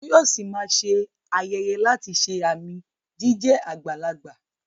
Toyosi máa ṣe ayẹyẹ láti ṣe àmì jíjẹ́ àgbàlagbà.